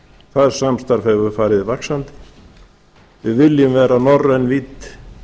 það samstarf hefur farið vaxandi við viljum vera norræn vídd